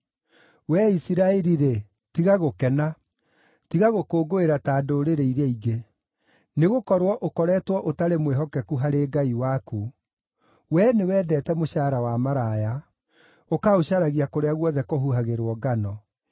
Wee Isiraeli-rĩ, tiga gũkena; tiga gũkũngũĩra ta ndũrĩrĩ iria ingĩ. Nĩgũkorwo ũkoretwo ũtarĩ mwĩhokeku harĩ Ngai waku; wee nĩwendete mũcaara wa maraya, ũkaũcaragia kũrĩa guothe kũhuhagĩrwo ngano.